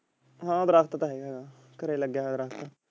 ਹਾਂ ਫਰਕ ਤੇ ਹੇਗਾ ਘਰੇ ਲੱਗਿਆ ਹੋਏ ਦਰਖਤ।